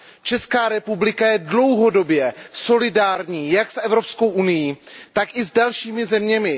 Česká republika je dlouhodobě solidární jak s Evropskou unií, tak i s dalšími zeměmi.